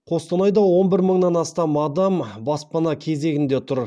қостанайда он бір мыңнан астам адам баспана кезегінде тұр